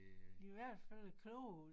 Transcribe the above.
I hvert fald kloge